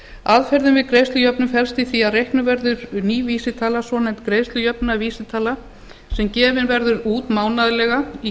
aðferðin við greiðslujöfnun felst í því að reiknuð verður ný vísitala svonefnd greiðslujöfnunarvísitala sem gefin verður út mánaðarlega í